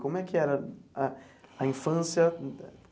Como é que era a a infância?